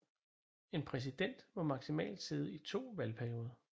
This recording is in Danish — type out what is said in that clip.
En præsident må maksimalt sidde i to valgperioder